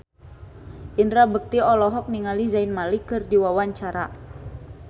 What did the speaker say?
Indra Bekti olohok ningali Zayn Malik keur diwawancara